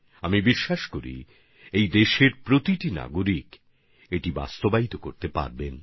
আর আমার বিশ্বাস এটা দেশের প্রত্যেক নাগরিক করতে পারবেন